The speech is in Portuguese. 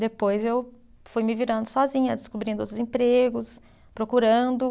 Depois eu fui me virando sozinha, descobrindo outros empregos, procurando.